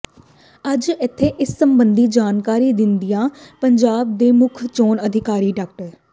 ਅੱਜ ਇਥੇ ਇਸ ਸਬੰਧੀ ਜਾਣਕਾਰੀ ਦਿੰਦਿਆਂ ਪੰਜਾਬ ਦੇ ਮੁੱਖ ਚੋਣ ਅਧਿਕਾਰੀ ਡਾ